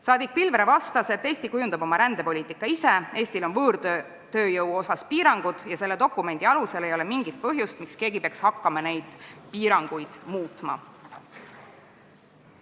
Saadik Pilvre vastas, et Eesti kujundab oma rändepoliitika ise, Eestil on võõrtööjõu piirangud ja ei ole mingit põhjust, miks keegi peaks hakkama selle dokumendi alusel neid piiranguid muutma.